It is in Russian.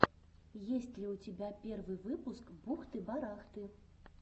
есть ли у тебя первый выпуск бухты барахты